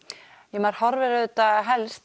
maður horfir auðvitað helst